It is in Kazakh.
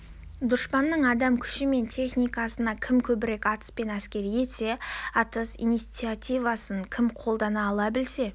дұшпанның адам күші мен техникасына кім көбірек атыспен әсер етсе атыс инициативасын кім қолына ала білсе